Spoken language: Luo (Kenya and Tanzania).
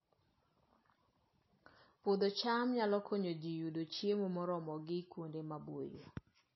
Puodho cham nyalo konyo ji yudo chiemo moromogi kuonde maboyo